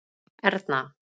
Erna